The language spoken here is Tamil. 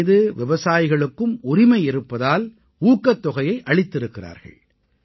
இதன் மீது விவசாயிகளுக்கும் உரிமை இருப்பதால் ஊக்கத் தொகையை அளித்திருக்கிறார்கள்